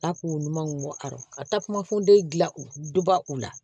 A k'u ɲumanw bɔ arɔ ka taa kuma fɔ den dilan u duba u la